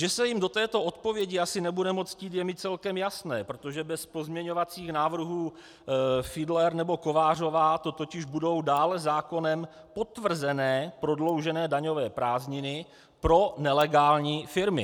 Že se jim do této odpovědi asi nebude moc chtít, je mi celkem jasné, protože bez pozměňovacích návrhů Fiedler nebo Kovářová to totiž budou dále zákonem potvrzené prodloužené daňové prázdniny pro nelegální firmy.